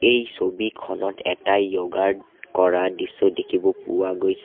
এটা ছবিখনত এটা য়ৌগা ৰ কৰা দৃশ্য দেখিব পোৱা গৈছে।